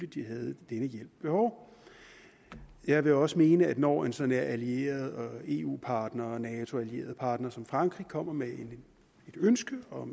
de havde den hjælp behov jeg vil også mene at når en sådan allieret eu partner og nato partner som frankrig kommer med et ønske om